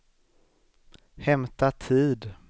hämta tid